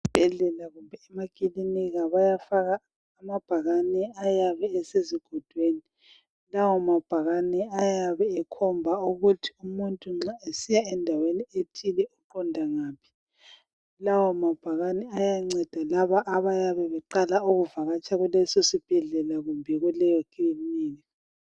Esibhedlela kumbe emakilinika bayafaka amabhakane ayabe esezigodweni, lawo mabhakane ayabe ekhomba ukuthi umuntu nxa esiya endaweni ethile uqonda ngaphi, lawo mabhakane ayanceda labo abayabe beqala ukuvakatsha kuleso sibhedlela kumbe kuleyo kilinika.